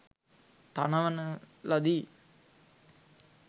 තනවන ලදී.